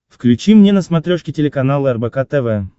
включи мне на смотрешке телеканал рбк тв